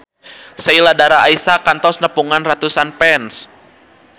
Sheila Dara Aisha kantos nepungan ratusan fans